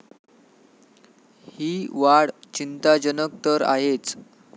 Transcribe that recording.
ही वाढ चिंताजनक तर आहेच.